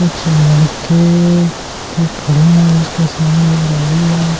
कुछ लड़के के खड़े है उसके सामने एक गाड़ी है जो--